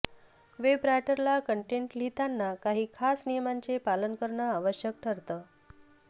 web रायटरला content लिहिताना काही खास नियमांचे पालन करणं आवश्यक ठरतं